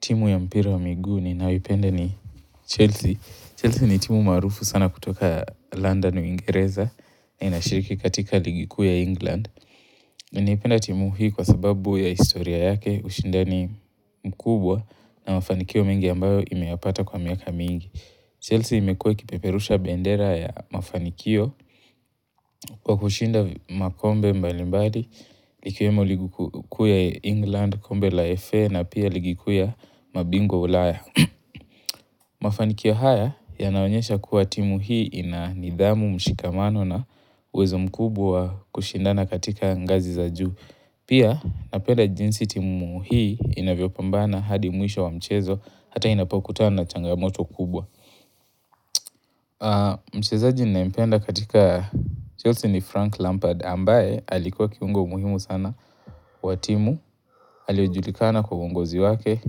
Timu ya mpira wa miguu ninayoipenda ni Chelsea. Chelsea ni timu maarufu sana kutoka London uingereza na inashiriki katika ligi kuu ya England. Ninaipenda timu hii kwa sababu ya historia yake ushindani mkubwa na mafanikio mengi ambayo imewapata kwa miaka mingi. Chelsea imekuwa ikipeperusha bendera ya mafanikio kwa kushinda makombe mbalimbali ikiwemo ligi kuu ya England, kombe la FA na pia ligu kuu ya mabingwa wa ulaya. Mafanikio haya yanaonyesha kuwa timu hii inanidhamu mshikamano na uwezo mkubwa kushindana katika ngazi za juu. Pia napenda jinsi timu hii inavyopambana hadi mwisho wa mchezo hata inapokutana na changamoto kubwa. Mchezaji ninayempenda katika Chelsea ni Frank Lampard ambaye alikuwa kiungo muhimu sana wa timu Aliojulikana kwa uongozi wake,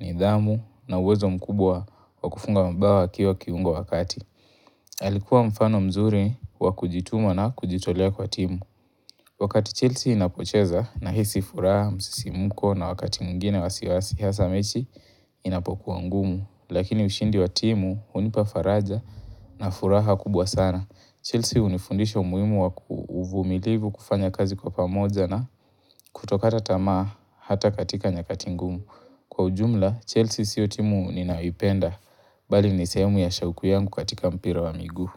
nidhamu na uwezo mkubwa wa kufunga mabao akiwa kiungo wa kati Alikuwa mfano mzuri wakujituma na kujitolea kwa timu Wakati Chelsea inapocheza nahisi furaha, msisimuko na wakati mwingine wasiwasi hasa mechi inapokuwa ngumu Lakini ushindi wa timu hunipa faraja na furaha kubwa sana Chelsea hunifundisha umuhimu waku uvumilivu kufanya kazi kwa pamoja na kutokata tamaa hata katika nyakati ngumu. Kwa ujumla Chelsea sio timu ninayoipenda bali ni sehemu ya shauku yangu katika mpira wa miguu.